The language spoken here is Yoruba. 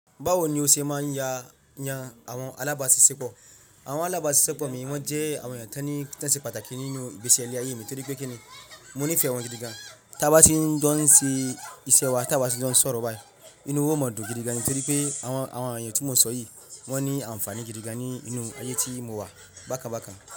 Bawo ni o ṣe máa ń ya yan àwọn alábàásisẹ́pọ̀? Àwọn alábàásisẹ́pọ̀ mi wọ́n jẹ́ àwọn ìyà tan ti ṣe pàtàkì nínú ìgbese ile ayé mi torí pé kíni mo nífẹ̀ẹ́ wọn gidi gan. Tábá sí ní ń jon se iṣẹ́ wa, tábá sí ń jon sọ̀rọ̀ bayi, inú wa o máa dùn gidi gan torí pé àwọn èyan tí mo n ṣoyì wọ́n ní ànfàní gidi gan ninú ayé tí mo wà bákan bákan.